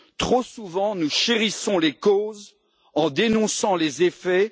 Trop souvent, nous chérissons les causes en dénonçant les effets.